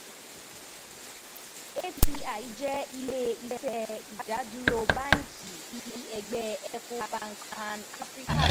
ETI jẹ ile-iṣẹ idaduro banki (BHC) ti Ẹgbẹ Ecobank Pan-African.